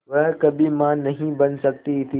वह कभी मां नहीं बन सकती थी